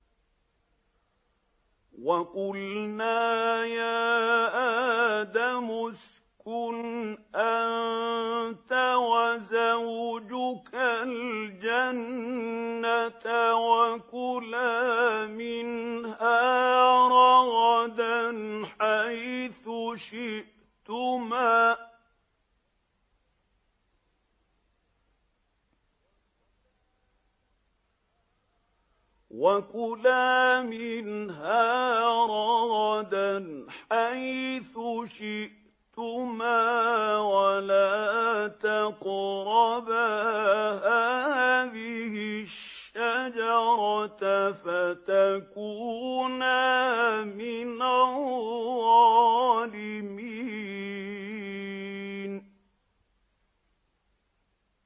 وَقُلْنَا يَا آدَمُ اسْكُنْ أَنتَ وَزَوْجُكَ الْجَنَّةَ وَكُلَا مِنْهَا رَغَدًا حَيْثُ شِئْتُمَا وَلَا تَقْرَبَا هَٰذِهِ الشَّجَرَةَ فَتَكُونَا مِنَ الظَّالِمِينَ